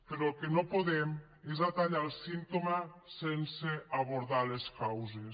però el que no podem és atallar el símptoma sense abordar les causes